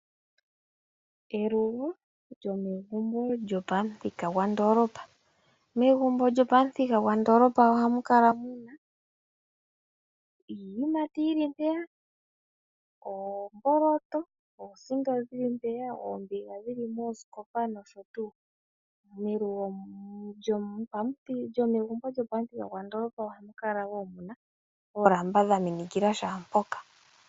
Elugo lyomegumbo lyopamuthika gwa ndolopa. Megumbo lyopamuthika gwa ndolopa ohamu kala muna iiyimati yili mpeya, oomboloto, oosito dhimwe mpeya, oombig dhili moosikopa nosho tuu. Melugo lyomegumbo lyo pamuthika gwa ndolopa ohamu kala wo muna oolamba dha minikil shaa mpoka.